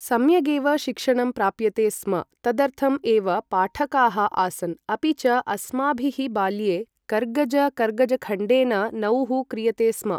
सम्यगेव शिक्षणं प्राप्यते स्म तदर्थम् एव पाठकाः आसन् अपि च अस्माभिः बाल्ये कर्गज कर्गजखण्डेन नौः क्रियते स्म ।